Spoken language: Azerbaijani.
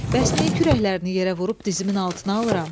Bəs niyə kürəklərini yerə vurub dizimin altına alıram?